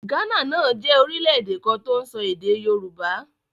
Ghana náà jẹ́ orílẹ̀ èdè kan tó ń sọ èdè Yorùbá.